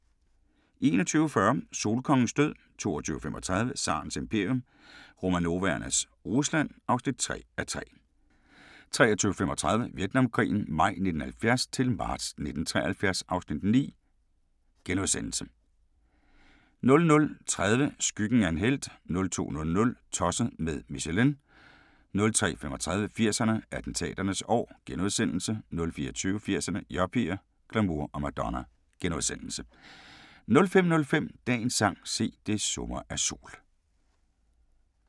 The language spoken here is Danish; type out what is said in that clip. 21:40: Solkongens død 22:35: Tsarens imperium – Romanovernes Rusland (3:3) 23:35: Vietnamkrigen maj 1970-marts 1973 (Afs. 9)* 00:30: Skyggen af en helt 02:00: Tosset med Michelin 03:35: 80'erne: Attentaternes år * 04:20: 80'erne: Yuppier, glamour og Madonna * 05:05: Dagens sang: Se, det summer af sol *